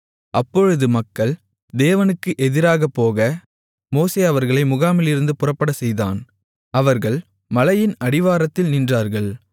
அப்பொழுது மக்கள் தேவனுக்கு எதிராகபோக மோசே அவர்களை முகாமிலிருந்து புறப்படச்செய்தான் அவர்கள் மலையின் அடிவாரத்தில் நின்றார்கள்